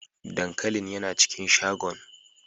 Dankalin yana cikin shagon.